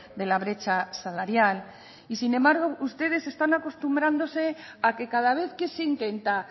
de la brecha salarial y sin embargo ustedes están acostumbrándose a que cada vez que se intenta